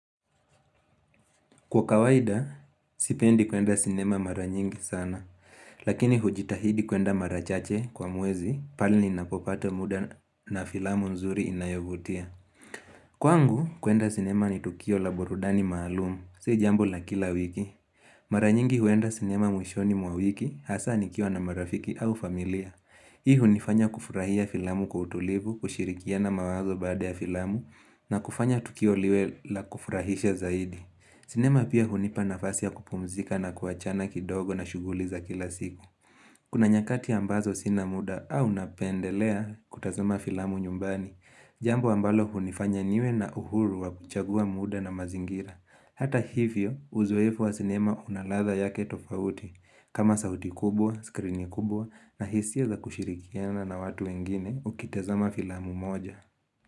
Kwa kawaida, sipendi kuenda sinema maranyingi sana, lakini hujitahidi kuenda marachache kwa mwezi, pale ninapopata muda na filamu nzuri inayovutia. Kwa ngu, kuenda sinema ni tukio la burudani maalumu, si jambo la kila wiki. Maranyingi huenda sinema mwishoni mwa wiki, hasa nikiwa na marafiki au familia. Hii hunifanya kufurahia filamu kwa utulivu, kushirikia na mawazo baada ya filamu, na kufanya tukio liwe la kufurahisha zaidi. Sinema pia hunipa nafasi ya kupumzika na kuachana kidogo na shuguli za kila siku Kuna nyakati ambazo sinamuda au napendelea kutazama filamu nyumbani Jambo ambalo hunifanya niwe na uhuru wa kuchagua muda na mazingira Hata hivyo uzoefu wa sinema unaladha yake tofauti kama sauti kubwa, skrini kubwa na hisia za kushirikiana na watu wengine ukitazama filamu moja.